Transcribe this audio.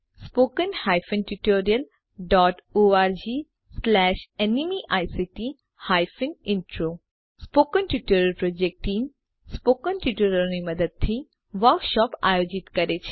spoken tutorial project team spoken ટ્યુટોરીયલોની મદદથી વર્કશોપો આયોજિત કરે છે